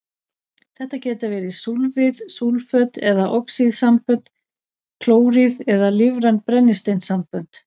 Þetta geta verið súlfíð, súlföt eða oxíðsambönd, klóríð eða lífræn brennisteinssambönd.